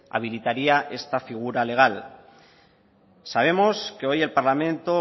habilitaría esta figura legal sabemos que hoy el parlamento